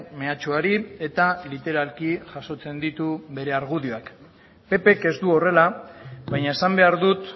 mehatxuari eta literalki jasotzen ditu bere argudioak ppk ez du horrela baina esan behar dut